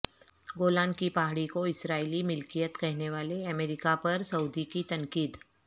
گولان کی پہاڑی کو اسرائیلی ملکیت کہنے والے امریکہ پر سعودی کی تنقید